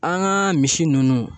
An ka misi ninnu